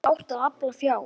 Hvernig átti að afla fjár?